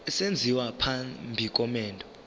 esenziwa phambi komendo